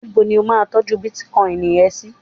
níbo ni o ma n tọju bitcoin ẹ sí